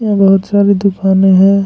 और बहुत सारे दुकानें हैं।